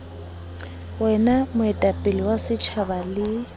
wena moetapele wa setjhaba le